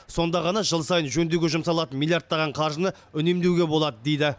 сонда ғана жыл сайын жөндеуге жұмсалатын миллиардтаған қаржыны үнемдеуге болады дейді